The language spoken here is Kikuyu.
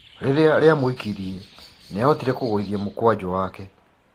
Rĩrĩa rĩamũikirie nĩahotire kũgũithia mũkwanjũ wake.